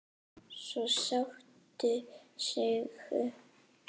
Svo sástu Siggu.